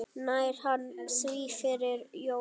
Nær hann því fyrir jólin?